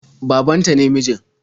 Baban ta ne mijin.